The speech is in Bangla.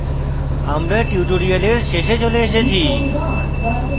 আমরা tutorial শেষে চলে এসেছি